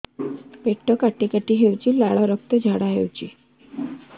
ପେଟ କାଟି କାଟି ହେଉଛି ଲାଳ ରକ୍ତ ଝାଡା ହେଉଛି